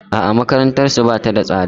A'a makarantarsu ba ta da tsada.